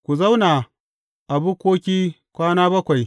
Ku zauna a bukkoki kwana bakwai.